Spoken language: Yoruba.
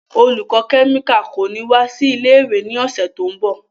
Olùkọ́ kẹ́míkà kò ní wá sí ilé-ìwé ní ọ̀sẹ̀ tó ń bọ̀.